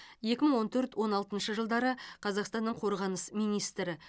екі мың он төрт он алтыншы жылдары қазақстанның қорғаныс министрі